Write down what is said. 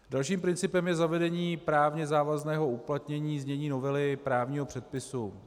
Dalším principem je zavedení právně závazného uplatnění znění novely právního předpisu.